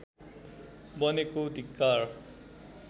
बनेको धिक्कार